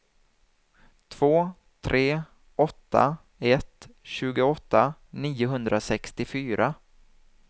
två tre åtta ett tjugoåtta niohundrasextiofyra